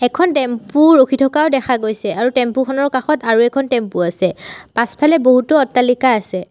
এখন টেম্পো ৰখি থকাও দেখা গৈছে। আৰু টেম্পো খনৰ কাষত আৰু এখন টেম্পো আছে। পাছফালে বহুতো অট্টালিকা আছে।